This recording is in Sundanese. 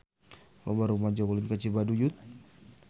Loba rumaja ulin ka Cibaduyut